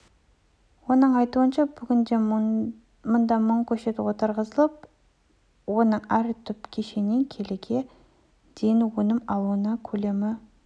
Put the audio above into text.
оның айтуынша бүгінде мұнда мың көшет отырғызылып оның әр түп көшетінен келіге дейін өнім алынуда көлемі